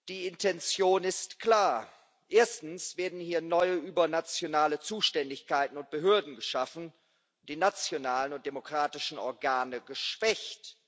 Die Intention ist klar Erstens werden hier neue übernationale Zuständigkeiten und Behörden geschaffen, die nationalen und demokratischen Organe geschwächt.